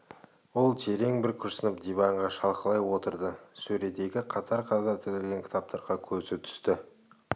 ол терең бір күрсініп диванға шалқалай отырды сөредегі қатар-қатар тізілген кітаптарға көзі түсті